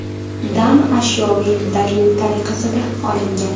dan ashyoviy dalil tariqasida olingan.